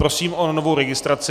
Prosím o novou registraci.